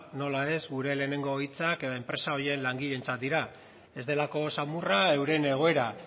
nola ez gure lehenengo hitzak enpresa horien langileentzat dira ez delako samurra euren egoera